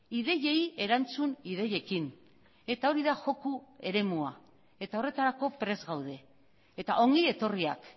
ideiei erantzun ideiekin eta hori da joko eremua eta horretarako prest gaude eta ongi etorriak